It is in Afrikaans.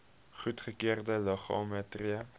goedgekeurde liggame tree